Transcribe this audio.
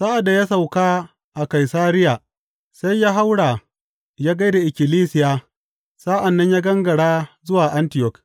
Sa’ad da ya sauka a Kaisariya, sai ya haura ya gai da ikkilisiya sa’an nan ya gangara zuwa Antiyok.